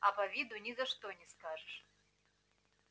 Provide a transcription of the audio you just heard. а по виду ни за что не скажешь